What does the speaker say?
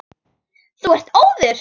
Þú ert óður!